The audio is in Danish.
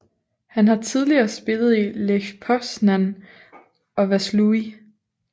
Han har tidligere spillet i Lech Poznań og Vaslui